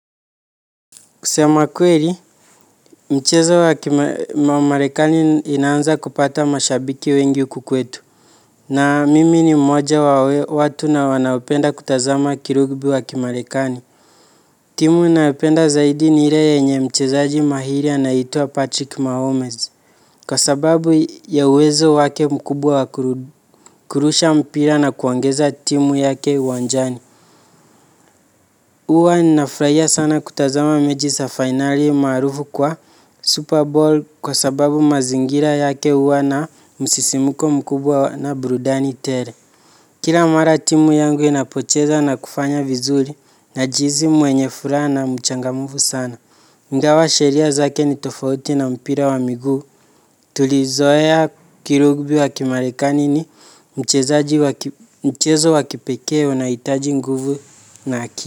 Kusema kweri, mchezo wa marekani inaanza kupata mashabiki wengi huku kwetu. Na mimi ni mmoja wa watu na wanaopenda kutazama kirugbi wa kimarekani. Timu inayopenda zaidi ni ire yenye mchezaji mahiri anaitwa Patrick Mahomes. Kwa sababu ya uwezo wake mkubwa wa kurusha mpira na kuongeza timu yake uwanjani. Uwa ninafraia sana kutazama meji sa finali maarufu kwa Super Bowl kwa sababu mazingira yake uwa na msisimuko mkubwa na brudani tele. Kira mara timu yangu inapocheza na kufanya vizuri najiizi mwenye furaa na mchangamufu sana. Ingawa sheria zake ni tofauti na mpira wa miguu. Tulizoea kirugbi wa kimarekani ni mchezo wa kipeke unaoitaji nguvu na aki.